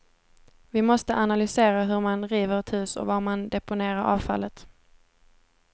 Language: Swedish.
Vi måste analysera hur man river ett hus och var man deponerar avfallet.